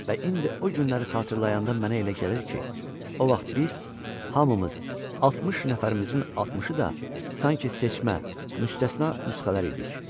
Və indi o günləri xatırlayanda mənə elə gəlir ki, o vaxt biz hamımız 60 nəfərimizin 60-ı da sanki seçmə, müstəsna nüsxələr idik.